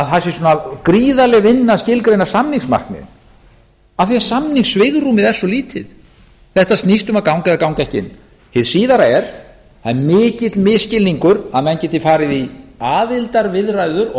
að það sé gríðarleg vinna að skilgreina samningsmarkmiðin af því að samningssvigrúmið er svo lítið þetta snýst um að ganga eða ganga ekki hið síðara er að mikill misskilningur að menn geti farið í aðildarviðræður og